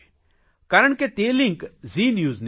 કારણ કે તે લિંક ઝી ન્યૂઝની હતી